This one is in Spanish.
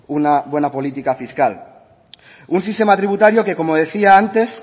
una buena política fiscal un sistema tributario que como decía antes